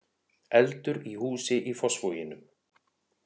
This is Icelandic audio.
Eldur í húsi í Fossvoginum